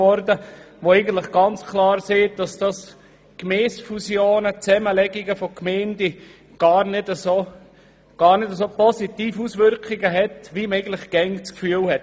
Sie zeigt ganz klar, dass Gemeindefusionen gar nicht so positive Auswirkungen haben, wie man immer annimmt.